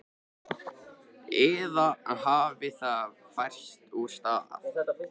Eða hafði það færst úr stað?